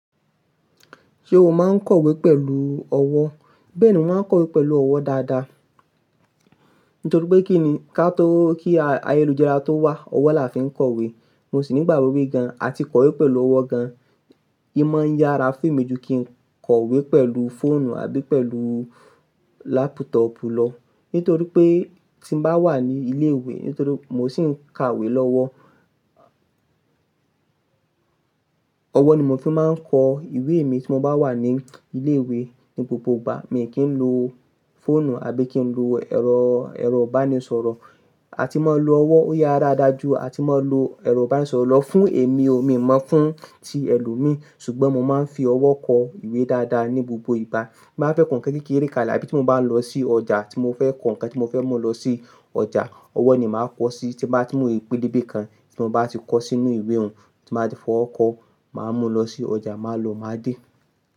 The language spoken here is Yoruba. Ṣé o máa ń kọ̀wé pẹ̀lú ọwọ́? Bẹ́ẹ̀ni, mo máa ń kọ̀wé pẹ̀lú ọwọ́ dáadáa. Nítorí pé kí ni, ká tó kí ayélujára tó wà, ọwọ́ la fi ń kọ̀wé. Mo sì ní ìgbàgbọ́ pé gan, àti kọ̀wé pẹ̀lú ọwọ́ gan. E máa ń yára fún mi ju kí n kọ̀wé pẹ̀lú fóònù àbí pẹ̀lú lápútọ̀ọ̀pù lọ. Nítorí pé tí mo bá wà ní ilé ìwé, nítorí mo sì ń ka ìwé lọ́wọ́. Ọwọ́ ni mo fi máa ń kọ ìwé mi tí mo bá wà ní ilé ìwé ní gbogbo ìgbà. Mi ò kí ń lo fóònù àbí kí ń lo ẹ̀rọ, ẹ̀rọ ìbánisọ̀rọ̀. A ti máa lo ọwọ́ ó yára dáa jù a ti máa lo ẹ̀rọ ìbánisọ̀rọ̀. Lọ fún èmi o, mi ò mọ̀ fún ti ẹlòmíí. Ṣùgbọ́n mo máa ń fi ọwọ́ kọ ìwé dáadáa ní gbogbo ìgbà. Bí mo bá fẹ́ kọ ǹkan kékeré kan lá abi tí mo bá lọ sí ọjà, tí mo fẹ́ kọ ǹkan tí mo fẹ́ mú lọ sí ọjà, ọwọ́ ni màá kọ̀ sí i. Tí mo rí pẹlẹbẹ kan tí mo bá ti kọ sínú ìwé òun, tí màá fi ọwọ́ kọ, màá mú lọ sí ọjà, màá lo, màá dè.